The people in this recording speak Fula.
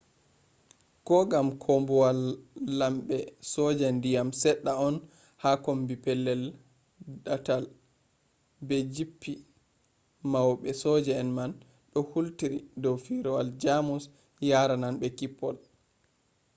kogam koobuwal lambe soja diyam sedda on ha kommbi pellel daatal be japptii maube sojaji man do hultiri dow firawol germus yarananbe kippol